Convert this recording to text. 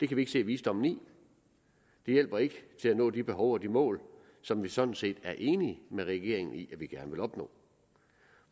kan vi ikke se visdommen i de hjælper ikke til at nå de behov og mål som vi sådan set er enige med regeringen i at vi gerne vil opnå